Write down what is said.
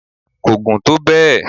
ko gùn tó bẹ